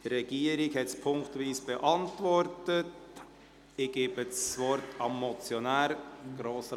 Die Regierung hat den Vorstoss ziffernweise beantwortet.